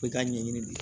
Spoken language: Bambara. Ko i ka ɲɛɲini de